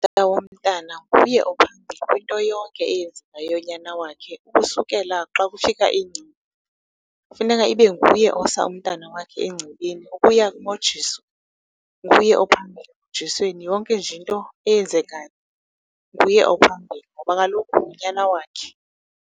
Utata womntana nguye ophambili kwinto yonke eyenzekayo yonyana wakhe. Ukusukela xa kufika , kufuneka ibe nguye osa umntana wakhe engcibini, ukuya kumojiso, nguye ophambili emojisweni. Yonke nje into eyenzekayo nguye ophambili ngoba kaloku ngunyana wakhe.